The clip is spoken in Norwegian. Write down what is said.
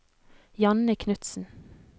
Janne Knudsen